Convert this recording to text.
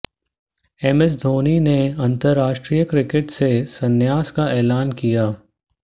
M S Dhoni ने अंतरराष्ट्रीय cricket से संन्यास का ऐलान किया